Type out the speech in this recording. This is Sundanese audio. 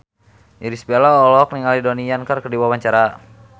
Irish Bella olohok ningali Donnie Yan keur diwawancara